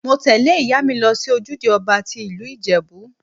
Mo tẹ́lẹ̀ ìyá mi lọ sí ojúde ọba tí ìlú Ìjẹ̀bú.